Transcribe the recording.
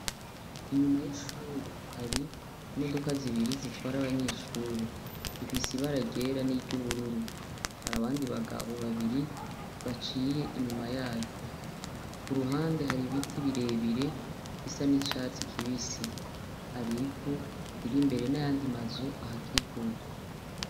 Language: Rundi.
Inyuma yishuri hari imodoka zibiri zitwara abanyeshuri. Zifise ibara ryera n'iryo ubururu. Hari abandi bagabo babiri baciye inyuma yaryo. Ku ruhande hari ibiti birebire bisa n'icatsi kibisi. Hari ivu riri imbere n'ayandi mazu ayikikuje.